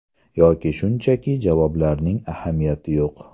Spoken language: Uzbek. Yoki shunchaki javoblarning ahamiyati yo‘q.